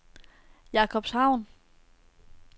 Jakobshavn